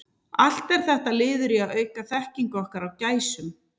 Allt er þetta liður í að auka þekkingu okkar á gæsum.